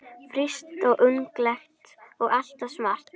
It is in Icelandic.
Frísk, ungleg og alltaf smart.